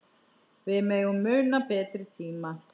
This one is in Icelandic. Við megum muna betri tíma.